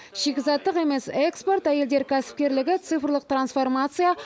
шикізаттық емес экспорт әйелдер кәсіпкерлігі цифрлық трансформация